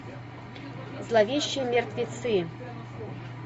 зловещие мертвецы